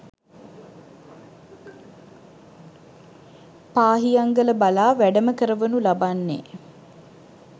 පාහියන්ගල බලා වැඩම කරවනු ලබන්නේ